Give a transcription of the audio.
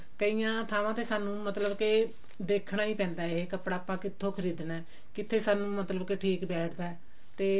ਕਈਆਂ ਥਾਵਾਂ ਤੇ ਸਾਨੂੰ ਮਤਲਬ ਕਿ ਦੇਖਣਾ ਵੀ ਪੈਂਦਾ ਹੈ ਕੱਪੜਾ ਆਪਾਂ ਕਿੱਥੋਂ ਖਰੀਦਣਾ ਕਿੱਥੇ ਸਾਨੂੰ ਮਤਲਬ ਕਿ ਠੀਕ ਬੈਠਦਾ ਤੇ